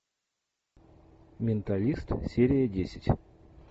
менталист серия десять